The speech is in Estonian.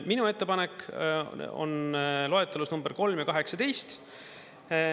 Minu ettepanekud on loetelus nr 3 ja 18.